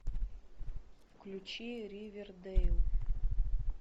включи ривердейл